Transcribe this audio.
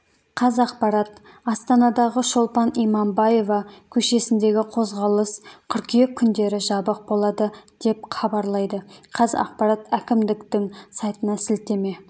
қазақпарат астанадағы шолпан иманбаева көшесіндегі қозғалыс қыркүйек күндері жабық болады деп хабарлайды қазақпарат әкімдіктің сайтына сілтеме